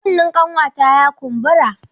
Kunnen ƙanwata ya kumbura.